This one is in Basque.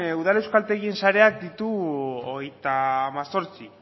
udal euskaltegien sareak ditu hogeita hemezortzi